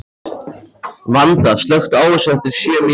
Vanda, slökktu á þessu eftir sjö mínútur.